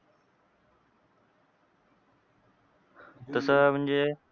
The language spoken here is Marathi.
तसं म्हणजे,